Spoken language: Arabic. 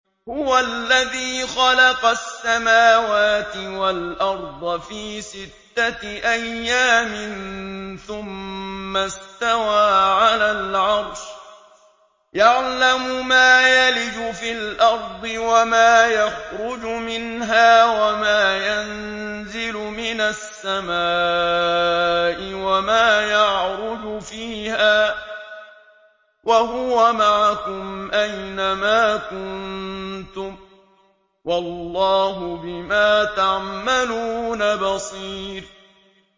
هُوَ الَّذِي خَلَقَ السَّمَاوَاتِ وَالْأَرْضَ فِي سِتَّةِ أَيَّامٍ ثُمَّ اسْتَوَىٰ عَلَى الْعَرْشِ ۚ يَعْلَمُ مَا يَلِجُ فِي الْأَرْضِ وَمَا يَخْرُجُ مِنْهَا وَمَا يَنزِلُ مِنَ السَّمَاءِ وَمَا يَعْرُجُ فِيهَا ۖ وَهُوَ مَعَكُمْ أَيْنَ مَا كُنتُمْ ۚ وَاللَّهُ بِمَا تَعْمَلُونَ بَصِيرٌ